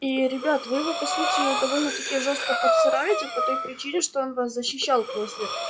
ии ребят вы его по сути довольно-таки жёстко подсираете по той причине что он вас защищал после